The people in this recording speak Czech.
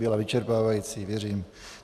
Byla vyčerpávající, věřím.